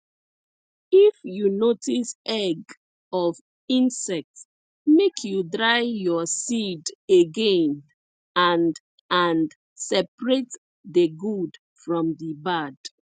if you notice egg of insect make you dry your seed again and and separate the good from the bad